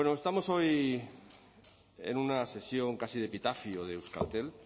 estamos hoy en una sesión casi de epitafio de euskaltel